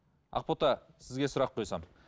ақбота сізге сұрақ қойсам